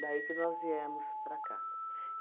que nós viemos para cá.